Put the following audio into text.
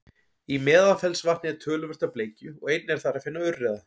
í meðalfellsvatni er töluvert af bleikju og einnig er þar að finna urriða